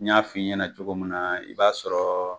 N y'a fɔ i ɲɛna cogo min na , i b'a sɔrɔ